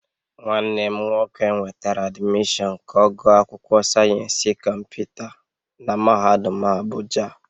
Nwanne m nwoke nwetara admission ka ogu akwukwo sayensi komputa na mahadum Abuja